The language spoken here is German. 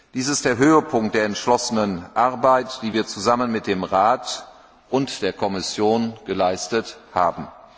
Dies ist der Höhepunkt der entschlossenen Arbeit, die wir zusammen mit dem Rat und der Kommission geleistet haben.